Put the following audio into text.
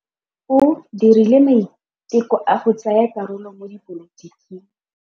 O dirile maitekô a go tsaya karolo mo dipolotiking.